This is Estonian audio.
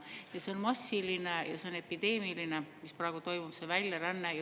Ja see on massiline, see on epideemiline, mis praegu toimub, see väljaränne.